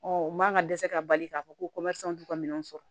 Ɔ u man ka dɛsɛ ka bali k'a fɔ ko t'u ka minɛnw sɔrɔ